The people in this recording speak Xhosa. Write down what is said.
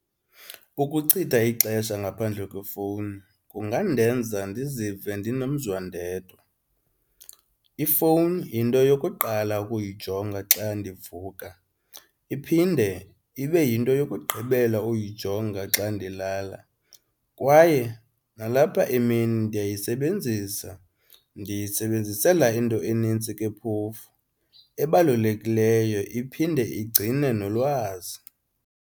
Ukuchitha ixesha ngaphandle kwefowuni kungandenza ndizive ndinomzwa ndedwa. Ifowuni yinto yokuqala ukuyijonga xa ndivuka, iphinde ibe yinto yokugqibela uyijonga xa ndilala kwaye nalapha emini ndiyayisebenzisa ndiyisebenzisela into enintsi ke phofu ebalulekileyo, iphinde igcine nolwazi.